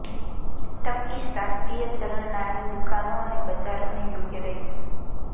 Turkish રાષ્ટ્રીય ચલણ નાની દુકાનો અને બજારોને યોગ્ય રહેશે